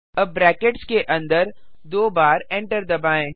अब ब्रैकेट्स के अन्दर दो बार Enter दबाएँ